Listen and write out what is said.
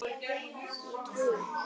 Ég trúi.